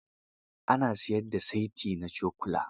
Ana siyar da saiti na cokula.